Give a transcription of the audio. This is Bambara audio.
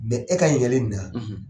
e ka yɛlɛ na.